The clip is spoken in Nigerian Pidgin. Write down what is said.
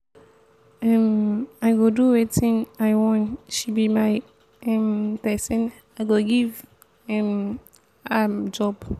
um i go do wetin i wan she be my um person i go give um am job.